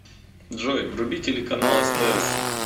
джой вруби телеканал стс